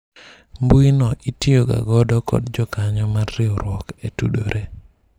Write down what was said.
mbui no itiyo ga godo kod jokanyo mar riwruok e tudore